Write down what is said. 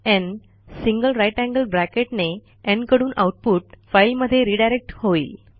न् greater than sign ने न् कडून आऊटपुट फाईलमध्ये रिडायरेक्ट होईल